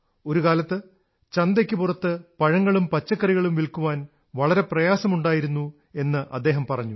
ഒരുകാലത്ത് ചന്തയ്ക്കു പുറത്ത് പഴങ്ങളും പച്ചക്കറികളും വില്ക്കാൻ വളരെ പ്രയാസമുണ്ടായിരുന്നു എന്ന് അദ്ദേഹം പറഞ്ഞു